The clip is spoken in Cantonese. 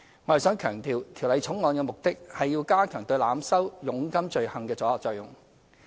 我想強調，《條例草案》的目的是要加強對濫收佣金罪行的阻嚇作用。